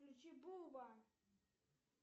включи буба